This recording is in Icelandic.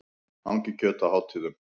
Hangikjöt á hátíðum.